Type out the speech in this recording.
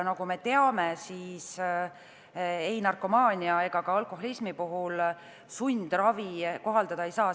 Nagu me teame, ei narkomaania ega ka alkoholismi puhul sundravi kohaldada ei saa.